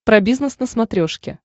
про бизнес на смотрешке